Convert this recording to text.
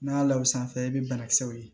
N'a y'a la o sanfɛ i bɛ banakisɛw ye